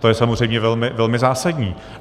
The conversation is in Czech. To je samozřejmě velmi zásadní.